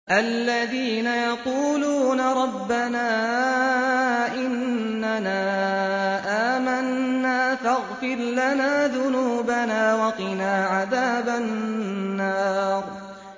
الَّذِينَ يَقُولُونَ رَبَّنَا إِنَّنَا آمَنَّا فَاغْفِرْ لَنَا ذُنُوبَنَا وَقِنَا عَذَابَ النَّارِ